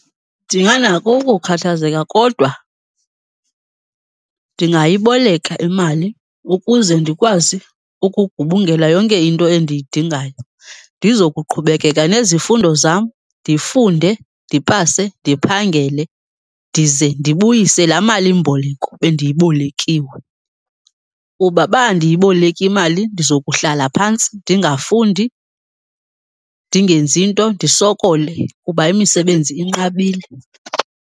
Ndinganako ukukhathazeka kodwa ndingayiboleka imali ukuze ndikwazi ukugubungela yonke into endiyidingayo ndizokuqhubekeka nezifundo zam. Ndifunde, ndipase, ndiphangele ndize ndibuyise laa malimboleko bendiyibolekiwe kuba uba andiyiboleki imali ndizokuhlala phantsi ndingafundi, ndingenzi nto ndisokole kuba imisebenzi inqabile.